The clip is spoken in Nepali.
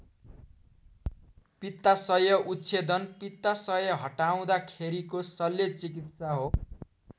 पित्ताशय उच्छेदन पित्ताशय हटाउँदाखेरिको शल्य चिकित्सा हो।